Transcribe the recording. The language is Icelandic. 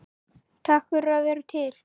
Takk fyrir að vera til.